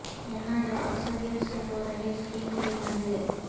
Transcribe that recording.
یہاں جب اکثریت سے ہو رہے اسکیم کے دھندے